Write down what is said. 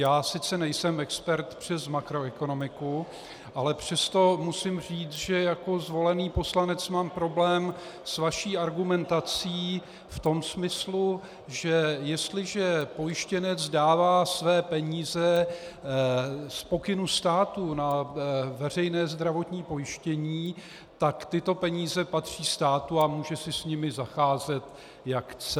Já sice nejsem expert přes makroekonomiku, ale přesto musím říct, že jako zvolený poslanec mám problém s vaší argumentací v tom smyslu, že jestliže pojištěnec dává své peníze z pokynu státu na veřejné zdravotní pojištění, tak tyto peníze patří státu a může si s nimi zacházet, jak chce.